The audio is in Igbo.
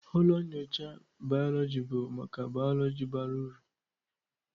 Ụlọ nyocha bayoloji bụ maka bayoloji bara uru.